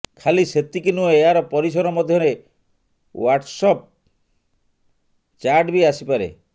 ଖାଲି ସେତିକି ନୁହେଁ ଏହାର ପରିସର ମଧ୍ୟରେ ୱାଟର୍ସଆପ୍ ଚାର୍ଟ ବି ଆସିପାରେ